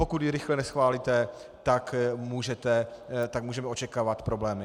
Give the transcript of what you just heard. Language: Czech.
Pokud ji rychle neschválíte, tak můžeme očekávat problémy."